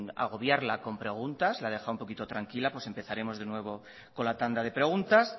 agobiarla con preguntas la he dejado un poquito tranquila pues empezaremos de nuevo con la tanda de preguntas